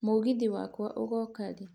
mũgithi wakwa ũgoka rĩ